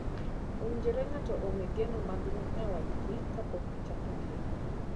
Owinjore ng'ato ong'ee geno mag nyawadgi kapok gichako keny.